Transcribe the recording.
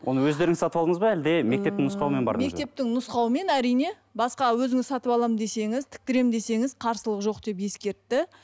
оны өздеріңіз сатып алдыңыз ба әлде мектептің нұсқауымен бардыңыз ба мектептің нұсқауымен әрине басқа өзіңіз сатып аламын десеңіз тіктіремін десеңіз қарсылық жоқ деп ескертті